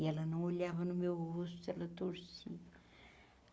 E ela não olhava no meu rosto, ela torcia.